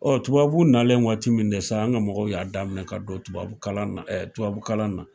Ɔ tubabubu nalen waati min de sa? an ga mɔgɔw y'a daminɛ ka don tubabu ka don tubabu kalan na